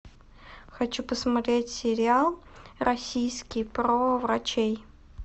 хочу посмотреть сериал российский про врачей